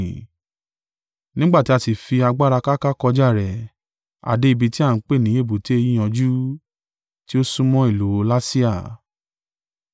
Nígbà tí a sì fi agbára káká kọjá rẹ̀, a dé ibi tí a ń pè ní Èbùté Yíyanjú, tí ó súnmọ́ ìlú Lasea.